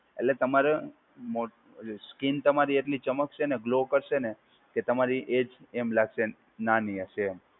એટલે તમારે મો સ્કીન તમારી એટલી ચમકશે અને ગ્લો કરશે ને કે તમારી એજ એમ લાગશે નાની હશે એમ.